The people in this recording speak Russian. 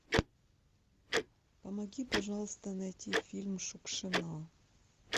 помоги пожалуйста найти фильм шукшина